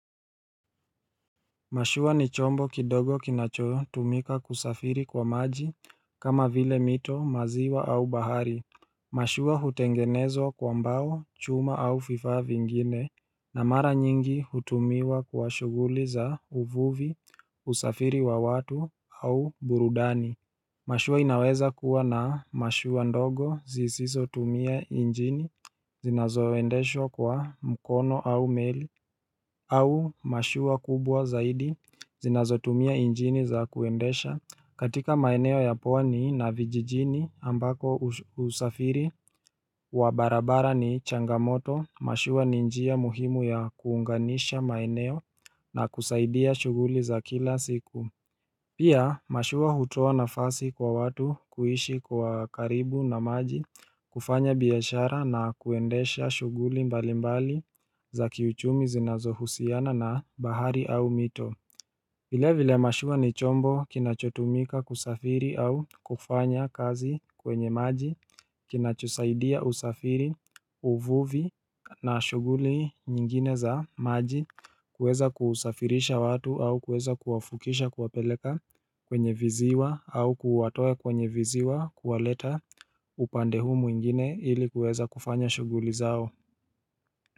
Mashua ni chombo kidogo kinacho tumika kusafiri kwa maji kama vile mito maziwa au bahari Mashua hutengenezwa kwa mbao chuma au fifa vingine na mara nyingi hutumiwa kwa shuguli za uvuvi usafiri wa watu au burudani Mashua inaweza kuwa na mashua ndogo zisiso tumia injini zinazoendeshwa kwa mkono au meli au mashua kubwa zaidi zinazotumia injini za kuendesha katika maeneo ya pwani na vijijini ambako usafiri wa barabara ni changamoto mashua ni njia muhimu ya kuunganisha maeneo na kusaidia shuguli za kila siku Pia mashua hutoa nafasi kwa watu kuishi kwa karibu na maji kufanya biashara na kuendesha shuguli mbalimbali za kiuchumi zinazohusiana na bahari au mito vile vile mashua ni chombo kinachotumika kusafiri au kufanya kazi kwenye maji Kinachosaidia usafiri uvuvi na shuguli nyingine za maji kuweza kusafirisha watu au kuweza kuwafukisha kuwapeleka kwenye viziwa au kuwatoa kwenye viziwa kuwaleta upande huu mwingine ili kuweza kufanya shuguli zao.